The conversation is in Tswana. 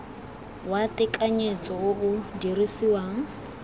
wa tekanyetso o o dirisiwang